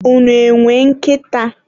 unu e nwere nkịta?